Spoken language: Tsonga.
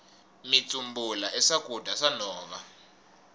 mitsumbula i swakudya swa nhova